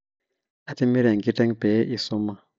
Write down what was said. atimira enkiteng pee isuma